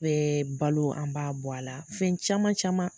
Bɛ balo an b'a bɔ a la fɛn caman caman.